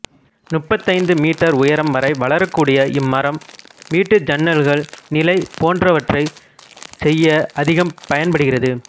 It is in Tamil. முப்பத்தைந்து மீட்டர் உயரம் வரை வளரக்கூடிய இம்மரம் வீட்டு ஜன்னல்கள் நிலை போன்றவற்றைச்செய்ய அதிகம் பயன்படுகிறது